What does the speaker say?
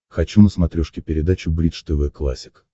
хочу на смотрешке передачу бридж тв классик